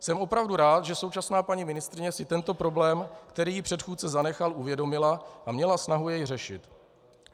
Jsem opravdu rád, že současná paní ministryně si tento problém, který jí předchůdce zanechal, uvědomila a měla snahu jej řešit.